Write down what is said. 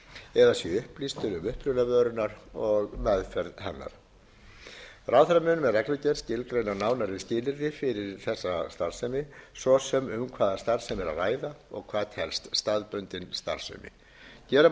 eða sé upplýstur um uppruna vörunnar og meðferð hennar ráðherra mun með reglugerð skilgreina nánari skilyrði fyrir þessa starfsemi svo sem um hvaða starfsemi er að ræða og hvað telst staðbundin starfsemi gera má ráð fyrir